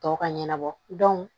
Tɔw ka ɲɛnabɔ